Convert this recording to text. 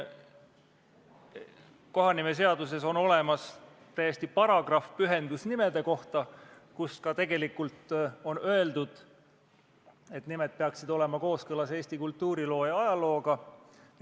Kohanimeseaduses on olemas paragrahv pühendusnimede kohta ja seal on öeldud, et nimed peaksid olema kooskõlas Eesti kultuuriloo ja ajalooga.